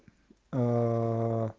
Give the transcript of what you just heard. в